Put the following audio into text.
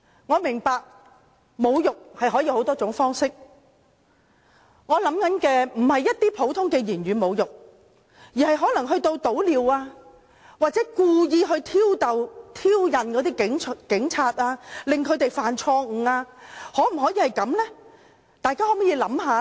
我明白侮辱可有多種方式，我所想的並非一些普通的言語侮辱，而是潑尿或故意挑釁警察，令他們犯錯，大家想想這樣行嗎？